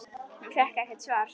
Hún fékk ekkert svar.